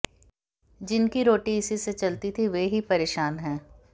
जिनकी रोटी इसी से चलती थी वे ही परेशान हैं